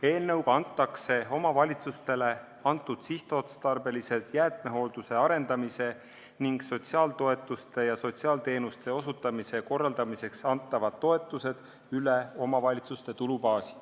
Eelnõuga kantakse omavalitsustele eraldatud sihtotstarbelised jäätmehoolduse arendamise ning sotsiaaltoetuste maksmise ja sotsiaalteenuste osutamise korraldamiseks antavad toetused üle omavalitsuste tulubaasi.